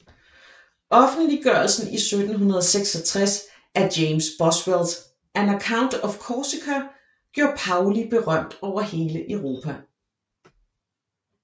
Offentliggørelsen i 1766 af James Boswells An Account of Corsica gjorde Paoli berømt over hele Europa